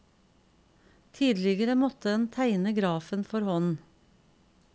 Tidligere måtte en tegne grafen for hånd.